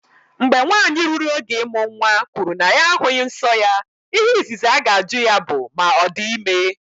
Mgbe nwanyị ruru oge ịmụ nwa kwuru na ya ahụghị nsọ ya, ihe izizi aga-ajụ ya bụ ma ọ dị ime.